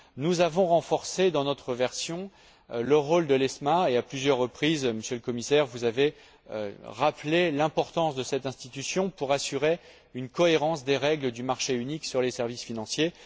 Nous avons renforcé, dans notre version, le rôle de l'ESMA et à plusieurs reprises, Monsieur le Commissaire, vous avez rappelé l'importance de cette institution pour assurer une cohérence des règles du marché unique sur les services financiers.